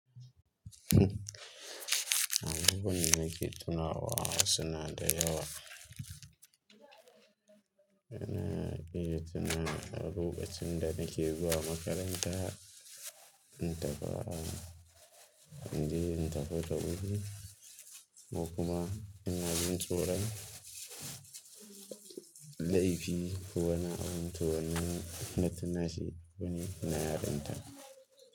Abubuwan da nake tunawa sunada yawa. Ina iya tuna a lokacin da nake zuwa makaranta, in tafi a, inje in tafi da wuri ko kuma ina jin tsoro. Laifi ko wani abin toh na tuna shi wani na yarinta.